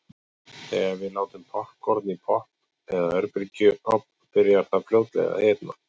Þegar við látum poppkorn í pott eða örbylgjuofn byrjar það fljótlega að hitna.